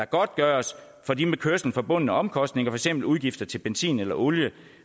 godtgørelse for de med kørslen forbundne omkostninger for eksempel udgifter til benzin eller olie ikke